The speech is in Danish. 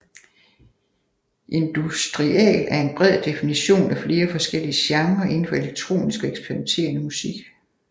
Industrial er en bred definition af flere forskellige genrer inden for elektronisk og eksperimenterende musik